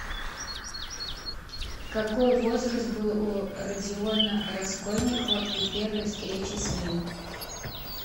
какой возраст был у родиона раскольникова при первой встрече с ним